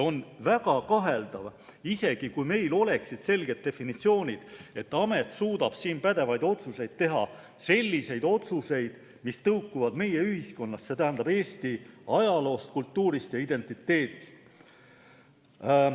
On väga kaheldav, isegi kui meil oleksid selged definitsioonid, et see amet suudaks selles asjas pädevaid otsuseid teha, selliseid otsuseid, mis tõukuksid meie ühiskonnast, see tähendab Eesti ajaloost, kultuurist ja identiteedist.